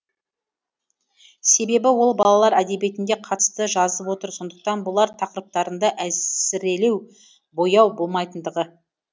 себебі ол балалар әдебиетіне қатысты жазып отыр сондықтан болар тақырыптарында әсірелеу бояу болмайтындығы